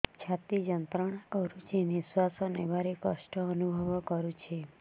ଛାତି ଯନ୍ତ୍ରଣା କରୁଛି ନିଶ୍ୱାସ ନେବାରେ କଷ୍ଟ ଅନୁଭବ କରୁଛି